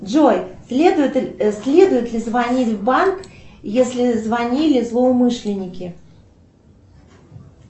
джой следует ли звонить в банк если звонили злоумышленники